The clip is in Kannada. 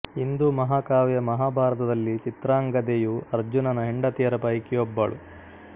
ಹಿಂದೂ ಮಹಾಕಾವ್ಯ ಮಹಾಭಾರತದಲ್ಲಿ ಚಿತ್ರಾಂಗದೆಯು ಅರ್ಜುನನ ಹೆಂಡತಿಯರ ಪೈಕಿ ಒಬ್ಬಳು